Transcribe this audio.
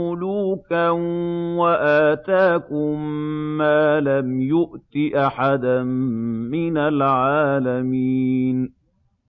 مُّلُوكًا وَآتَاكُم مَّا لَمْ يُؤْتِ أَحَدًا مِّنَ الْعَالَمِينَ